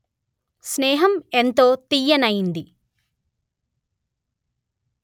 స్నేహం ఎంతో తియ్యనైంది